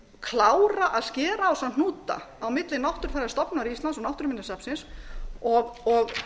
klára að skera á þessa hnúta á milli náttúrufræðistofnunar íslands og náttúruminjasafnsins og